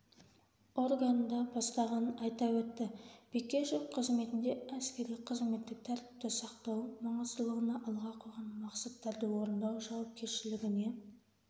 органында бастағанын айта өтті бекешев қызметінде әскери-қызметтік тәртіпті сақтау маңыздылығына алға қойған мақсаттарды орындау жауапкершілігіне